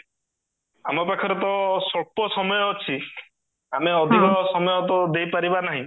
ଆମ ପାଖରେ ତ ସ୍ୱଳ୍ପ ସମୟ ଅଛି ଆମେ ଅଧିକ ସମୟ ତ ଦେଇପାରିବା ନାହିଁ